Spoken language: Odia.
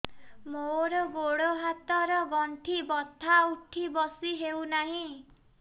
ମୋର ଗୋଡ଼ ହାତ ର ଗଣ୍ଠି ବଥା ଉଠି ବସି ହେଉନାହିଁ